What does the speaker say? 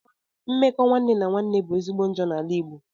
Mmekọ nwanne na nwanne bu ezigbo njọ na ala igbo